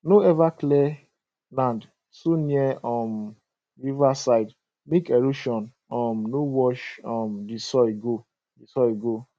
no ever clear land too near um river side make erosion um no wash um di soil go di soil go